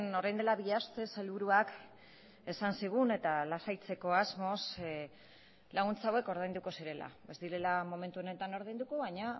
orain dela bi aste sailburuak esan zigun eta lasaitzeko asmoz laguntza hauek ordainduko zirela ez direla momentu honetan ordainduko baina